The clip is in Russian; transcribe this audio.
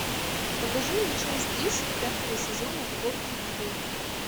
покажи мне часть десять пятого сезона фортитьюд